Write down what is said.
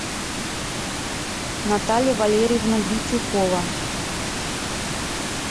наталья валерьевна битюкова